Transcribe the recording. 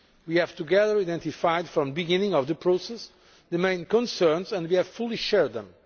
We have together identified, from the beginning of the process, the main concerns, and we fully share them.